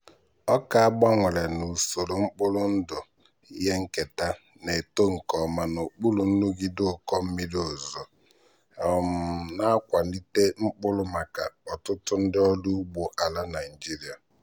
ọka a gbanwere n'usoro mkpụrụ ndụ ihe nketa na-eto nke ọma n'okpuru nrụgide ụkọ mmiri ozuzo um na-akwalite mkpụrụ maka ọtụtụ ndị ọrụ ugbo ala nigeria.